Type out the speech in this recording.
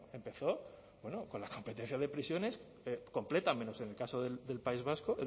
empezó con la competencia de prisiones completa menos en el caso del país vasco